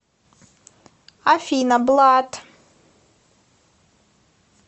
афина блад